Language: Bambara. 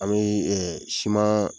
An bee simaan